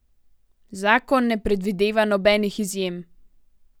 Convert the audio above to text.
Zakon ne predvideva nobenih izjem.